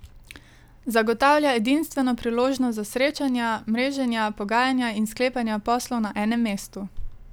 Zagotavlja edinstveno priložnost za srečanja, mreženja, pogajanja in sklepanja poslov na enem mestu.